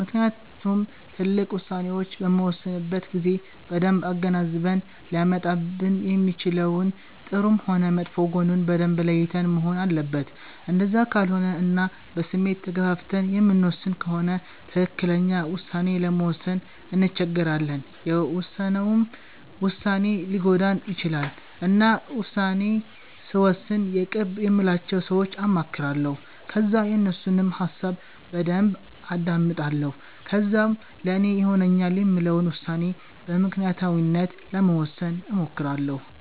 ምክንያቱም ትልቅ ዉሳኔዎች በምንወስንበት ጊዜ በደንብ አገናዝበን ሊያመጣብን የሚችለውን ጥሩም ሆነ መጥፎ ጎኑን በደንብ ለይተን መሆን አለበት እንደዛ ካልሆነ እና በስሜት ተገፋፍተን የምንወስን ከሆነ ትክክለኛ ዉሳኔ ለመወሰን እንቸገራለን የውሰነውም ዉሳኔ ሊጎዳን ይቺላል። እና ዉሳኔ ስወስን የቅርብ የምላቸውን ሰወች አማክራለሁ ከዛ የነሱንም ሀሳብ በደንብ አዳምጣለሁ ከዛም ለኔ ይሆነኛል የምለውን ዉሳኔ በምክኒያታዊነት ለመወሰን እሞክራለሁ